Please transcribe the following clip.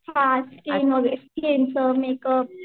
हां स्किन वगैरे स्किनचं मेकअप